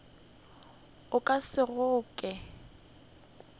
o ka se e kgoke